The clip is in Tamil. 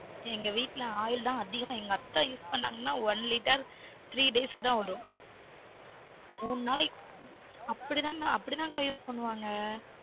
எங்க வீட்டுல oil தான் அதிகமா எங்க அத்த use பண்ணாங்கனா one litrethree days க்குதான் விலும் மூனு நாளாய் க்கு அப்டி தான் அப்டி தான் அக்கா use பண்ணுவாங்க